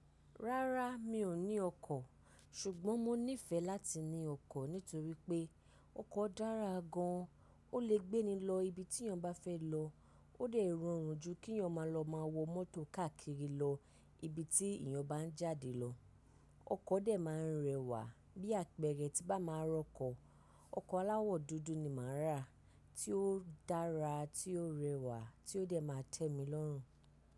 Rárá mi ò ní ọkọ̀, ṣùgbọ́n mo nífẹ̀ẹ́ láti ní ọkọ̀ nítorí pé ọkọ̀ dára gan an. Ó lè gbé ni lọ ibi tí èèyàn bá fẹ́ lọ, ó de ì rọrùn jù kí èèyàn máa lọ máa wọ mọ́tò káàkiri lọ ibi tí èèyàn bá ń jáde lọ. Ọkọ̀ de máa ń rẹwà bí apẹ̀rẹ̀ ti bá máa rọkọ̀. Ọkọ̀ aláwọ̀ dúdú ni màá rà, tí ó dára, tí ó rẹwà, tí ó de máa tẹ mi lọ́rùn.